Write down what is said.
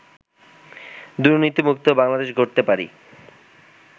দুর্নীতিমুক্ত বাংলাদেশ গড়তে পারি